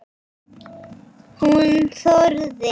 Hún þorði.